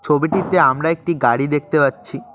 ছবিটিতে আমরা একটি গাড়ি দেখতে পাচ্ছি।